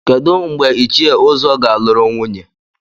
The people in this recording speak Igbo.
Kedu mgbe Ichie Uzo ga-alụrụ nwunye?